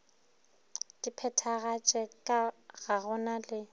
di phethagatše ga go na